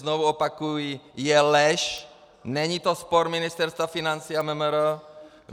Znovu opakuji, je lež, není to spor Ministerstva financí a MMR.